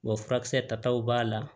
Wa furakisɛ tataw b'a la